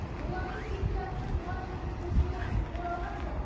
олардың тең жартысы туған жердің төсіне оралған жоқ